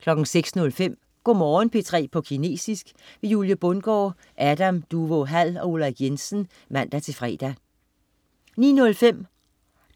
06.05 Go' Morgen P3 på kinesisk. Julie Bundgaard, Adam Duvå Hall og Ulrik Jensen (man-fre) 09.05